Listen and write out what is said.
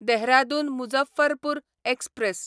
Dehradun Muzaffarpur express